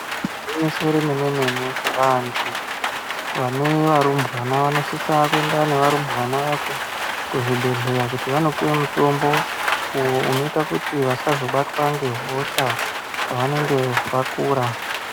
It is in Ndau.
Gwinyiso remene mene vantu vane varumbwana vanosisa kuenda nevarumbwana vacho kuzvibhedhlera kuti vandopuwe mutombo uyo unoita kuti vasazobatwa ngehosha pavanenge vakura.